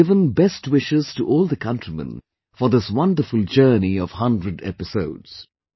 She has given best wishes to all the countrymen for this wonderful journey of 100 episodes